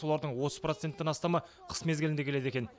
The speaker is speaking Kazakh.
солардың отыз проценттен астамы қыс мезгілінде келеді екен